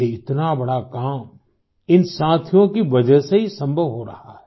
ये इतना बड़ा काम इन साथियों की वजह से ही संभव हो रहा है